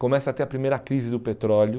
começa a ter a primeira crise do petróleo.